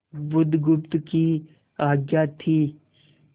बुधगुप्त की आज्ञा थी